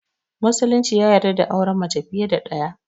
Musulunci ya yarda da auren mace fiye da ɗaya